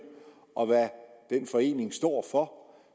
og hvad den forening står for